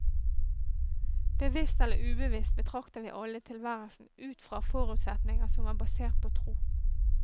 Bevisst eller ubevisst betrakter vi alle tilværelsen ut fra forutsetninger som er basert på tro.